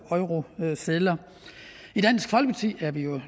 eurosedler i dansk folkeparti er vi jo